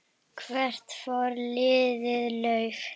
Hvert fór lítið lauf?